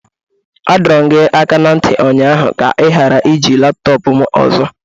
A dọrọ m gị aka na ntị ụnyaahụ ka ị ghara iji laptọọpụ m ọzọ!